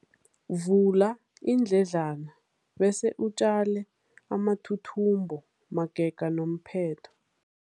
Vula iindledlana bese utjale amathuthumbo magega nomphetho.